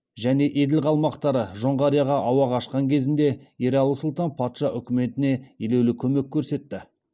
және еділ қалмақтары жоңғарияға ауа қашқан кезінде ералы сұлтан патша үкіметіне елеулі көмек көрсетті